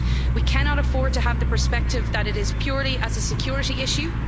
We cannot afford to have the perspective that it is purely as a security issue.